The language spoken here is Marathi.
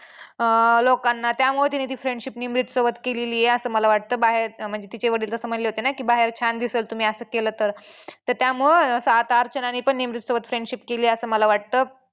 अं लोकांना त्यामुळं तिने ती friendship निमरीतसोबत केलेली आहे असं मला वाटतं बाहेर म्हणजे तिचे वडील तसे म्हंटले होते ना की बाहेर छान दिसल तुम्ही असं केलं तर त्यामुळं आता अर्चनाने पण निमरीतसोबत friendship केली असं मला वाटतं.